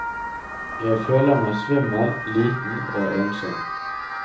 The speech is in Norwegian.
Jeg føler meg svimmel, liten og ensom.